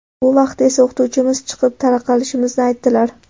Bu vaqtda esa o‘qituvchimiz chiqib, tarqalishimizni aytdilar.